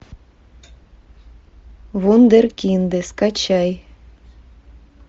вундеркинды скачай